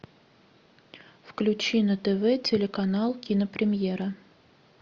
включи на тв телеканал кинопремьера